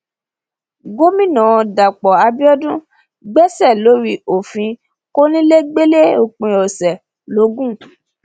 gomina dapò abiodun gbèsè lórí òfin kọnilẹgbẹlẹ òpin ọsẹ logun